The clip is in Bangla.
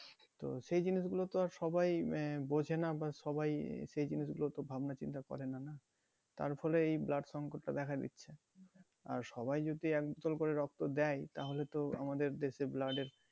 তো সেই জিনিস গুলো তো আর সবাই আহ বোঝে না সবাই সেই জিনিসগুলো তো ভাবনা চিন্তা করেনা না তার ফলে এই blood সংকট টা দ্যাখা দিচ্ছে আর সবাই যদি এক বোতল করে রক্ত দেয় তাহলে তো আমাদের দেশে blood এর